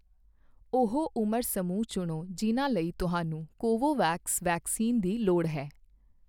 ਉਹ ਉਮਰ ਸਮੂਹ ਚੁਣੋ ਜਿਨ੍ਹਾਂ ਲਈ ਤੁਹਾਨੂੰ ਕੋਵੋਵੈਕਸ ਵੈਕਸੀਨ ਦੀ ਲੋੜ ਹੈ।